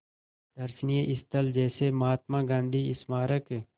दर्शनीय स्थल जैसे महात्मा गांधी स्मारक